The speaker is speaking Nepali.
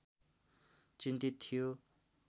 चिन्तित थियो